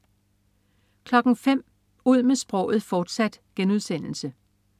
05.00 Ud med sproget, fortsat*